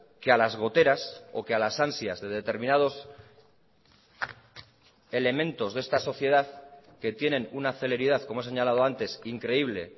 que a las goteras o que a las ansias de determinados elementos de esta sociedad que tienen una celeridad como he señalado antes increíble